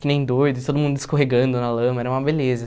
que nem doido, todo mundo escorregando na lama, era uma beleza.